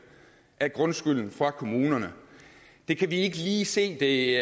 af grundskylden fra kommunerne det kan vi ikke lige se det